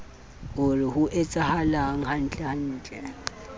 o re ho etsahalang hantlentle